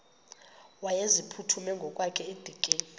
wayeziphuthume ngokwakhe edikeni